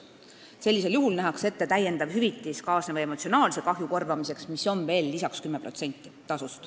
Sellisel juhul nähakse ette täiendav hüvitis kaasneva emotsionaalse kahju korvamiseks, mis on veel lisaks 10%.